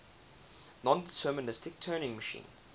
nondeterministic turing machine